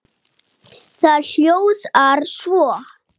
Það hljóðar svo